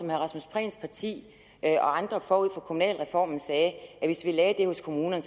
rasmus prehns parti og andre forud for kommunalreformen sagde at hvis vi lagde det hos kommunerne